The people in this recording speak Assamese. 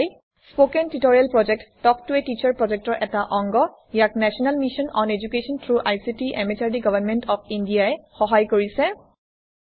স্পকেন টিউটৰিয়েল প্ৰকল্প তাল্ক ত a টিচাৰ প্ৰকল্পৰ এটা অংগ ইয়াক national mission on education through ICT MHRD government of India ই সহায় কৰিছে